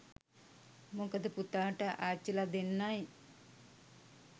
මොකද පුතාට අච්චිලා දෙන්නයි